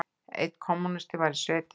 Einn kommúnisti var í sveitinni.